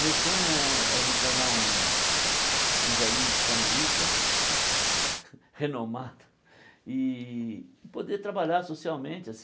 Meu sonho é é me tornar um um velhinho psicanalista, renomado, e e poder trabalhar socialmente